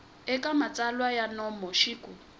eka matsalwa ya nomo xik